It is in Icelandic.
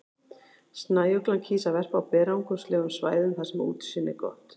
Snæuglan kýs að verpa á berangurslegum svæðum þar sem útsýni er gott.